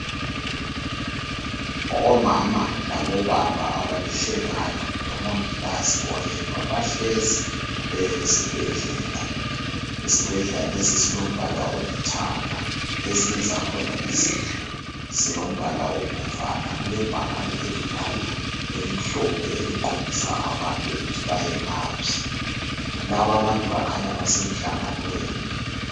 Omama labobaba abalihlekana loMongikazi oyedwa bahlezi esibhedlela. Isibhedlela lesi silombala olithanga ezinye zakhona izindlu zilombala obomvana. Kulebhakane elikhulu elimhlophe eliqondisa abantu ukuthi bayengaphi. Lababantu kukhanya basemhlanganweni.